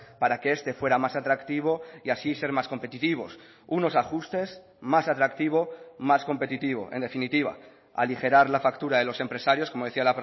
para que este fuera más atractivo y así ser más competitivos unos ajustes más atractivo más competitivo en definitiva aligerar la factura de los empresarios como decía